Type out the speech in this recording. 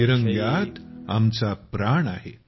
तिरंग्यात आमचा प्राण आहे